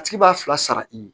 A tigi b'a fila sara i ye